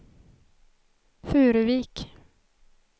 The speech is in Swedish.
Furuvik